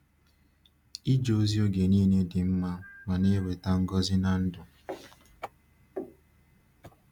Ịje ozi oge niile dị mma ma na-eweta ngọzi n’ndụ.